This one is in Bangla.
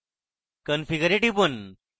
configure এ টিপুন